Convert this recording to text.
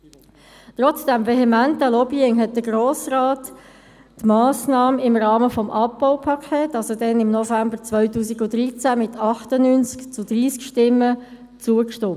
Trotz des vehementen Lobbyings hatte der Grosse Rat der Massnahme im Rahmen des Abbaupakets im November 2013 mit 98 zu 30 Stimmen zugestimmt.